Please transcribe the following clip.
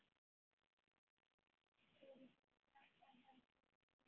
Kuldinn hjálpar heldur ekki til.